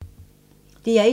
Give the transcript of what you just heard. DR1